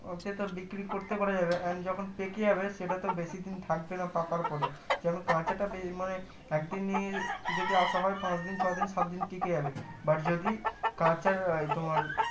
ok তো বিক্রি করতে পারা যাবে and যখন পেকে যাবে সেটা তো বেশি দিন থাকবে না পাকার পরে যেমন কাঁচাটা যে মানে একদিনই যদি রাখা হয় পাঁচদিন ছয়দিন সাতদিন টিকে যাবে but যদি কাঁচা তোমার